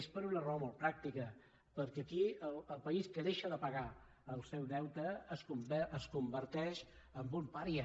és per una raó molt pràctica perquè aquí el país que deixa de pagar el seu deute es converteix en un pària